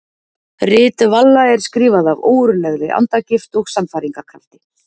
Rit Valla er skrifað af ógurlegri andagift og sannfæringarkrafti.